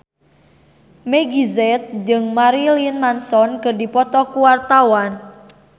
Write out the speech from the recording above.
Meggie Z jeung Marilyn Manson keur dipoto ku wartawan